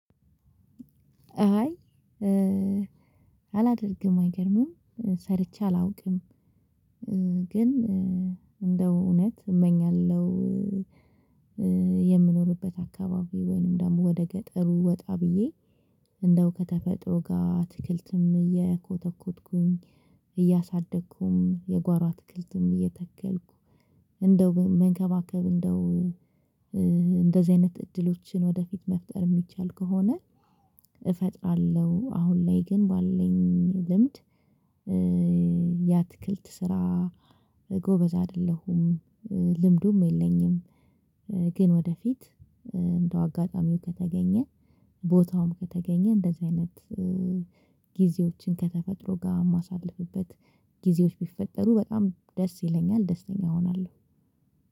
አይ አላደርግም። አይገርምም ሰርቼ አላውቅም። ግን እንደው እውነት እመኛለሁ። የምኖርበት አካባቢ ወይንም ደግሞ ወደገጠሩ ወጣ ብዬ እንደው ከተፈጥሮ ጋር አትክልትም እየኮተኮትኩኝ እያሳደግኩም የጓሮ አትክልትም እየተከልኩ እንደው መንከባከብ እንደው እንደዚህ አይነት እድሎችን ወደፊት መፍጠር የሚቻል ከሆነ። እፈጥራለሁ አሁን ላይ ግን ባለኝ ልምድ። ያትክልት ስራ ጎበዝ አይደለሁም። ልምዱም የለኝም። ግን ወደፊት እንደው አጋጣሚው ከተገኘ ቦታውም ከተገኘ እንደዚህ አይነት ጊዜዎችን ከተፈጥሮ ጋ እማሳልፍበት ጊዜዎች ቢፈጠሩ በጣም ደስ ይለኛል ደስተኛ እሆናለሁ።